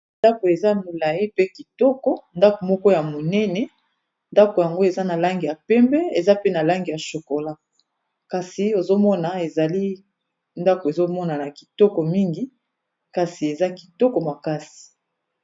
Ndako eza molayi mpe kitoko ndako moko ya monene ndako yango eza na langi ya pembe eza pe na langi ya chokola kasi ozomona ezali ndako ezomona kitoko mingi kasi eza kitoko makasi.